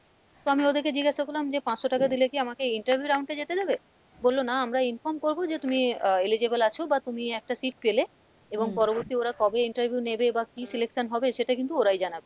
তো আমি ওদেরকে জিজ্ঞাসা করলাম যে পাঁচশো টাকা দিলে কী আমাকে interview round এ যেতে দেবে? বললো না আমরা inform করবো যে তুমি আহ eligible আছো বা তুমি একটা seat পেলে এবং পরবর্তী ওরা কবে interview নেবে বা কী selection হবে সেটা কিন্তু ওরাই জানাবে,